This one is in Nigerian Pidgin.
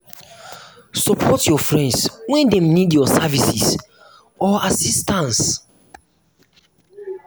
support your friends when dem need your services or assistance